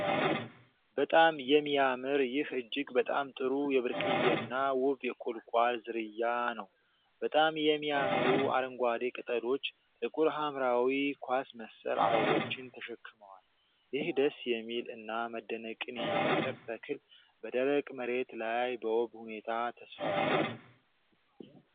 በጣም የሚያምር ይህ እጅግ በጣም ጥሩ የብርቅዬና ውብ የቁልቋል ዝርያ ነው። በጣም የሚያምሩ አረንጓዴ ቅጠሎች ጥቁር ሐምራዊ ኳስ መሰል አበቦችን ተሸክመዋል። ይህ ደስ የሚል እና መደነቅን የሚፈጥር ተክል በደረቅ መሬት ላይ በውብ ሁኔታ ተስፋፍቷል።